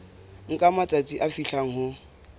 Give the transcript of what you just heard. nka matsatsi a fihlang ho